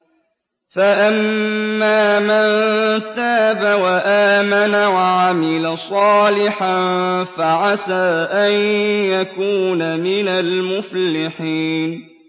فَأَمَّا مَن تَابَ وَآمَنَ وَعَمِلَ صَالِحًا فَعَسَىٰ أَن يَكُونَ مِنَ الْمُفْلِحِينَ